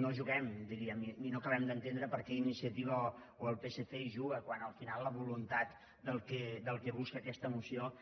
no juguem diríem i no acabem d’entendre perquè iniciativa o el psc hi juga quan al final la voluntat del que busca aquesta moció